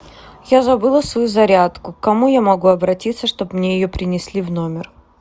я забыла свою зарядку к кому я могу обратиться чтобы мне ее принесли в номер